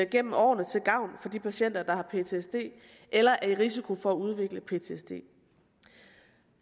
gennem årene til gavn for de patienter der har ptsd eller er i risiko for at udvikle ptsd